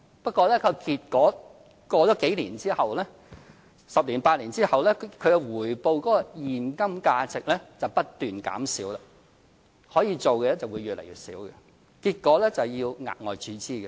不過，結果是過了數年後，在十年、八年後，它的回報現金價值則不斷減少，可以做的會越來越少，結果要額外注資。